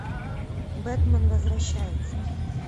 бэтмен возвращается